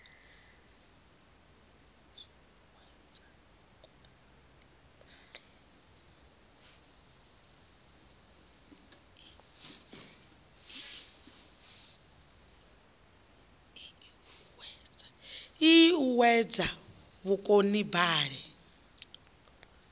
ii i o uuwedza vhukonibale